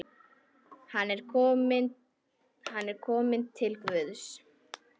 Hann er kominn til Guðs.